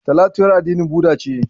Talatu ƴar addinin Buda ce